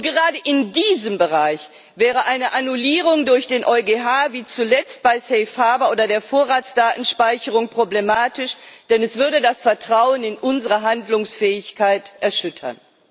Gerade in diesem Bereich wäre eine Annullierung durch den EuGH wie zuletzt bei Safe Harbour oder der Vorratsdatenspeicherung problematisch, denn es würde das Vertrauen in unsere Handlungsfähigkeit erschüttern.